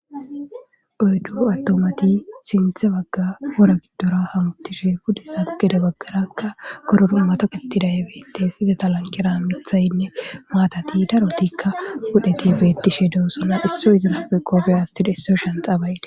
Oyddu aththumathi sinththe bagga wora giddora hamoththishe pudeza gede baggarakka gororo mathoqeththiday beeththees; izetha lanqqera meththaynne maathathi darothikka puulethi beeththishedoosona;issi shanxxaa ba7idi.